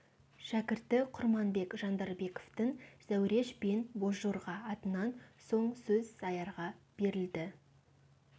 шәкірті құрманбек жандарбековтің зәуреш пен бозжорға атынан соң сөз сәярға берілді